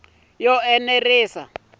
yo enela naswona ku na